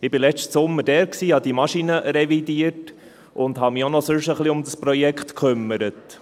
Ich war letzten Sommer dort, habe die Maschinen revidiert und habe mich auch sonst noch ein wenig um dieses Projekt gekümmert.